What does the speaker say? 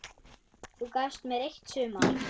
Þú gafst mér eitt sumar.